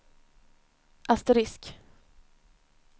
asterisk